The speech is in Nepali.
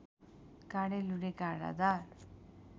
काँडे लुँडे काँडादार